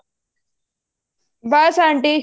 ਬੱਸ aunty